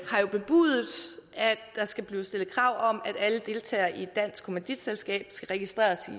har jo bebudet at der skal stilles krav om at alle deltagere i et dansk kommanditselskab skal registreres